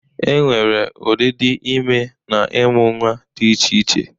E nwere ụdịdị ime na ịmụ nnwa dị iche iche.